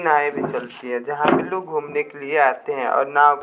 नायें भी चलती है जहां पे लोग घूमने के लिए आते हैं और नाव--